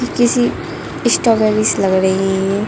किसी स्ट्रॉबेरीस लग रही है ये।